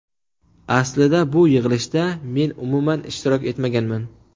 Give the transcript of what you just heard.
Aslida bu yig‘ilishda men umuman ishtirok etmaganman.